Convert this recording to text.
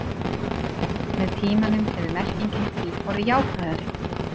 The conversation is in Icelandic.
með tímanum hefur merkingin því orðið jákvæðari